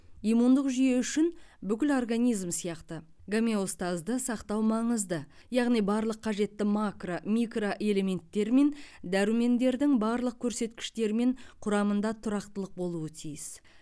иммундық жүйе үшін бүкіл организм сияқты гомеостазды сақтау маңызды яғни барлық қажетті макро микроэлементтер мен дәрумендердің барлық көрсеткіштері мен құрамында тұрақтылық болуы тиіс